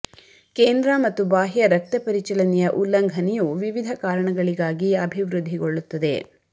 ಕೇಂದ್ರ ಮತ್ತು ಬಾಹ್ಯ ರಕ್ತ ಪರಿಚಲನೆಯ ಉಲ್ಲಂಘನೆಯು ವಿವಿಧ ಕಾರಣಗಳಿಗಾಗಿ ಅಭಿವೃದ್ಧಿಗೊಳ್ಳುತ್ತದೆ